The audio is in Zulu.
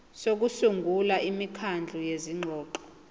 sokusungula imikhandlu yezingxoxo